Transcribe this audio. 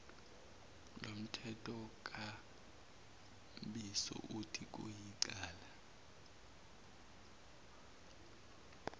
lomthethonkambiso uthi kuyicala